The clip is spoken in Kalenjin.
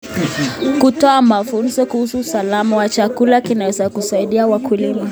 Kutoa mafunzo kuhusu usalama wa chakula kunaweza kusaidia wakulima.